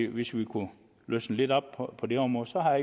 hvis vi kunne løsne lidt op på det område så har